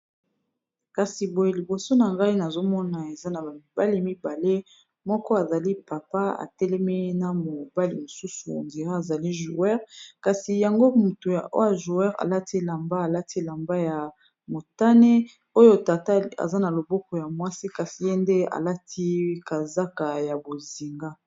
kasi boye liboso na ngai nazomona eza na bamibali mibale moko azali papa atelemi na mobali mosusu andira azali joueur kasi yango mutu ajouer alati elamba alati elamba ya motane oyo tata aza na loboko ya mwasi kasi ye nde alati kazaka ya bozinga